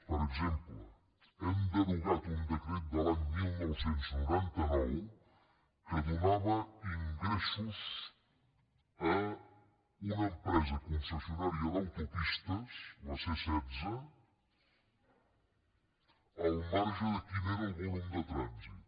per exemple hem derogat un decret de l’any dinou noranta nou que donava ingressos a una empresa concessionària d’autopistes la csetze al marge de quin fos el volum de trànsit